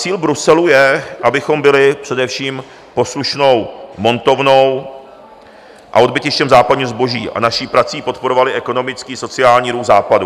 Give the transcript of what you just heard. Cíl Bruselu je, abychom byli především poslušnou montovnou a odbytištěm západního zboží a naší prací podporovali ekonomický sociální růst Západu.